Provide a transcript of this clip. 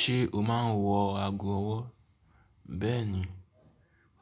Ṣé o má ń wọ ago ọwọ́? Bẹ́ẹ̀ni,